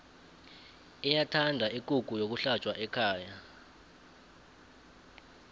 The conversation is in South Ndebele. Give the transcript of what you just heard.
iyathanda ikukhu yokuhlatjwa ekhaya